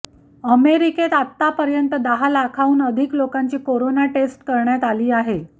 अमेरिकेत आतापर्यंत दहा लाखाहून अधिक लोकांची कोरोना टेस्ट करण्यात आली आहे